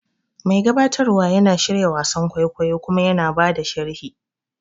Mai gabatarwa yana shirya wasan kwaikwayo kuma yana ba da sharhi.